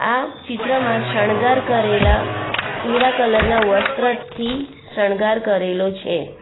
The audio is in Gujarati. આ ચિત્રમાં શણગાર કરેલા પીળા કલર ના વસ્ત્રથી શણગાર કરેલો છે.